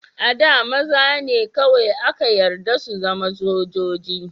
A da, maza ne kawai aka yarda su zama sojoji.